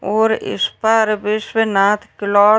और इस पर विश्वनाथ क्लॉथ --